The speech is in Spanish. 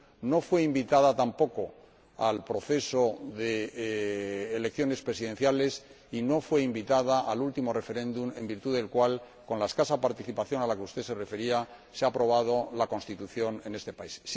no fue invitada tampoco al proceso de elecciones presidenciales y no fue invitada al último referéndum, en virtud del cual, con la escasa participación a la que usted se refería, se ha aprobado la Constitución en este país.